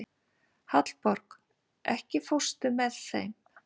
Hallborg, ekki fórstu með þeim?